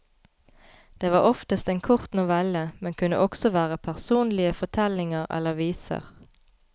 Det var oftest en kort novelle, men kunne også være personlige fortellinger eller viser.